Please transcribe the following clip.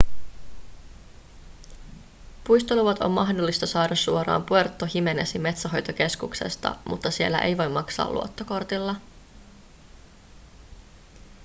puistoluvat on mahdollista saada suoraan puerto jiménezin metsänhoitokeskuksesta mutta siellä ei voi maksaa luottokortilla